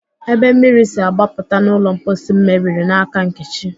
Ebe mmiri si agbapụta n'ụlọ mposi m mebiri n'aka Nkechi